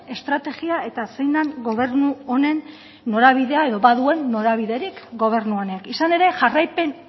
estrategia eta zein den gobernu honen norabidea edo ba duen norabiderik gobernu honek izan ere jarraipen